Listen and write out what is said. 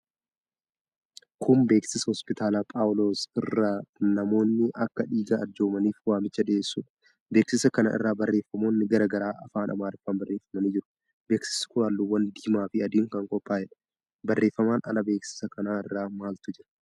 Kun beeksisa Hoospitaala Phaawuloos irraa namoonni akka dhiiga arjoomaniif waamicha dhiyeessudha. Beeksisa kana irra barreeffamoonni garaa garaa afaan Amaariffaan barreefamanii jiru. Beeksiisi kun halluuwwan diimaa fi adiin kan qophaa'edha. Barreeffamaan ala beeksiisa kana irra maaltu jira?